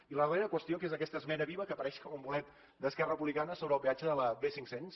i la darrera qüestió que és aquesta esmena viva que apareix com un bolet d’esquerra republicana sobre el peatge de la b cinc cents